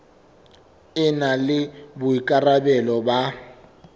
e na le boikarabelo ba